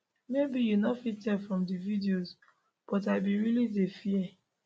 maybe you no fit tell from di videos but i bin really dey fear